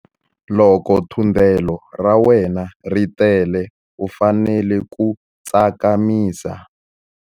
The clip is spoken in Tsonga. Loko thundelo ra wena ri tele u fanele ku tsakamisa.